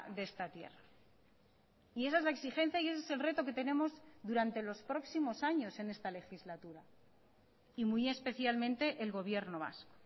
de esta tierra y esa es la exigencia y ese es el reto que tenemos durante los próximos años en esta legislatura y muy especialmente el gobierno vasco